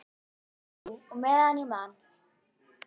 Jú, og meðan ég man.